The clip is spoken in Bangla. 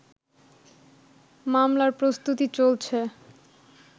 মামলার প্রস্তুতি চলছে